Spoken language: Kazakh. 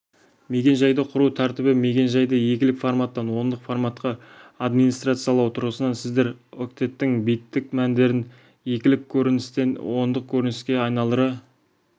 мекен-жайды құру тәртібі мекен-жайды екілік форматтан ондық форматқа администрациялау тұрғысынан сіздер октеттің биттік мәндерін екілік көріністен ондық көрініске айналдыра